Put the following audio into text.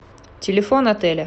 телефон отеля